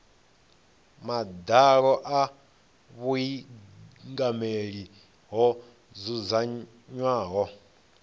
madalo a vhuingameli ho dzudzanywaho